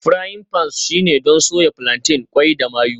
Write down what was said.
Frying pans shine don soya plantain, qwai da mayu